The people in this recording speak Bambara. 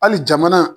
Hali jamana